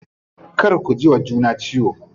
Kar ku jiwa juna ciwo.